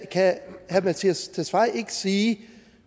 kan herre mattias tesfaye ikke sige